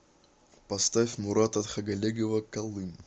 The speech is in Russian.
поставь мурата тхагалегова калым